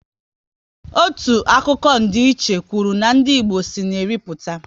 Otu akụkọ ndiiche kwụrụ na ndị Igbo si na Eri pụta